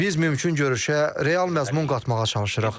Biz mümkün görüşə real məzmun qatmağa çalışırıq.